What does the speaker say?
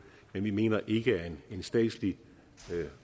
men vi mener ikke at en statslig